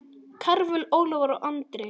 Karvel, Ólafur og Andri.